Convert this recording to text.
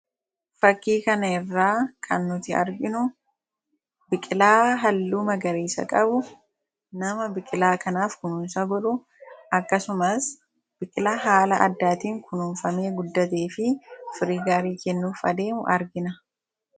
Fakii kana irraa kan nuti arginu, biqilaa halluu magariisa qabu, nama biqilaa kanaaf kunuunsa godhu, akkasumas biqilaa haala addaatiin kunuunfamee guddatee fi firii gaarii kennuuf adeemu argina.